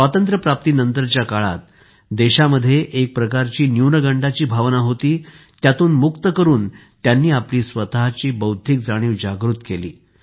स्वातंत्र्यप्राप्तीनंतरच्या काळात देशात एक प्रकारची न्यूनगंडाची भावना होती त्यातून मुक्त करून त्यांनी आपली स्वतःची बौद्धिक जाणीव जागृत केली